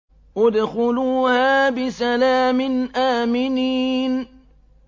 ادْخُلُوهَا بِسَلَامٍ آمِنِينَ